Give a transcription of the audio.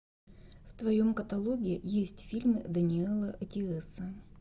в твоем каталоге есть фильмы дэниэла эттиэса